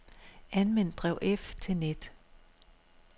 Anvend drev F til net.